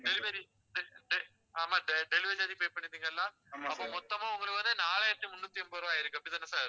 delivery de~ de~ ஆமா sir delivery ல இருந்து pay பண்ணிப்பீங்க எல்லாம் ஆமா அப்ப மொத்தமா உங்களுக்கு வந்து, நாலாயிரத்தி முன்னூத்தி எண்பது ரூபாய் ஆயிருக்கு அப்படித்தானே sir